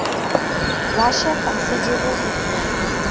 russia considerable influence